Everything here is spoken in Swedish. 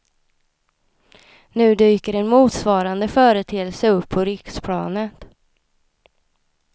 Nu dyker en motsvarande företeelse upp på riksplanet.